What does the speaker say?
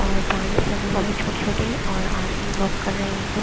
और प्लांट्स लगे हुये हैं छोटी-छोटी और आदमी वॉक कर रहे हैं एक-दो--